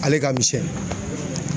Ale ka misɛn